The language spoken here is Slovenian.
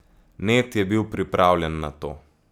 Ned je bil pripravljen na to.